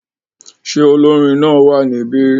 Ṣé olórin náà wà níbí?